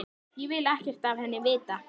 Ég vil ekkert af henni vita.